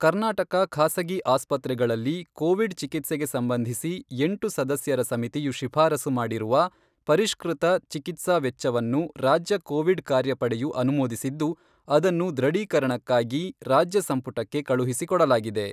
ಕರ್ನಾಟಕ ಖಾಸಗಿ ಆಸ್ಪತ್ರೆಗಳಲ್ಲಿ ಕೋವಿಡ್ ಚಿಕಿತ್ಸೆಗೆ ಸಂಬಂಧಿಸಿ ಎಂಟು ಸದಸ್ಯರ ಸಮಿತಿಯು ಶಿಫಾರಸು ಮಾಡಿರುವ ಪರಿಷ್ಕೃತ ಚಿಕಿತ್ಸಾ ವೆಚ್ಚವನ್ನು ರಾಜ್ಯ ಕೋವಿಡ್ ಕಾರ್ಯ ಪಡೆಯು ಅನುಮೋದಿಸಿದ್ದು, ಅದನ್ನು ದೃಢೀಕರಣಕ್ಕಾಗಿ ರಾಜ್ಯ ಸಂಪುಟಕ್ಕೆ ಕಳುಹಿಸಿಕೊಡಲಾಗಿದೆ.